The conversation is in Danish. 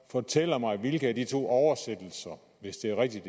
fortæller mig hvilken af de to oversættelser hvis det er rigtigt